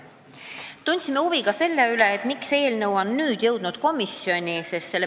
Tundsime huvi ka selle vastu, miks eelnõu alles nüüd on komisjoni jõudnud.